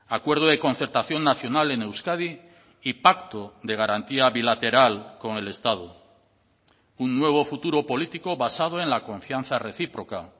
acuerdo de concertación nacional en euskadi y pacto de garantía bilateral con el estado un nuevo futuro político basado en la confianza recíproca